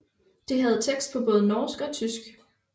Det havde tekst på både norsk og tysk